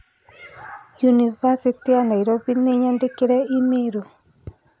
University ya Nairobi nĩinyandĩkĩire i-mīrū